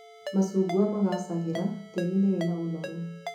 Macungwa magaacagĩra tĩĩri-inĩ wĩna ũnoru